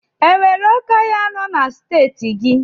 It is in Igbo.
O nwere oké ọhịa nọ na Steeti gị?